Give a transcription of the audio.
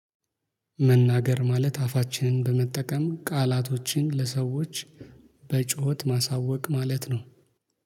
መናገር ማለት አፋችንን በመጠቀም ቃላቶችን ለሰዎች በጩኸት ማሳወቅ ማለት ነው።